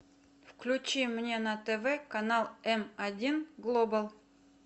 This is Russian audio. включи мне на тв канал м один глобал